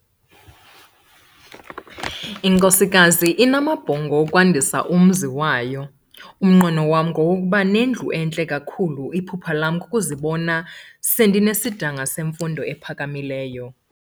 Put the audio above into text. Inkosikazi inamabhongo okwandisa umzi wayo. umnqweno wam ngowokuba nendlu entle kakhulu, iphupha lam kukuzibona sendinesidanga semfundo ephakamileyo